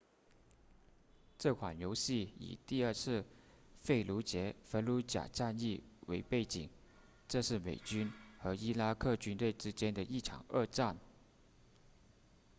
这款游戏以第二次费卢杰 fallujah 战役为背景这是美军和伊拉克军队之间的一场恶战